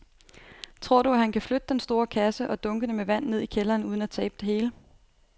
Tror du, at han kan flytte den store kasse og dunkene med vand ned i kælderen uden at tabe det hele?